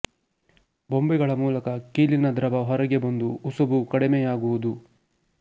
ಬೊಬ್ಬೆಗಳ ಮೂಲಕ ಕೀಲಿನ ದ್ರವ ಹೊರಗೆ ಬಂದು ಉಸುಬು ಕಡಿಮೆಯಾಗುವುದು